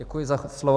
Děkuji za slovo.